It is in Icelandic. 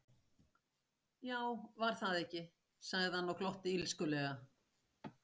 Já, var það ekki, sagði hann og glotti illskulega.